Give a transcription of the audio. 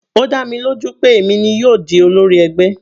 Ó dá mi lójú pé èmi ni yóò di olórí ẹgbẹ́ mi.